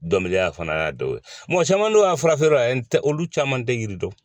Dɔnkilida fana y'a dɔ ye caman don a fura feere yɔrɔ la n tɛ olu caman tɛ yiri dɔn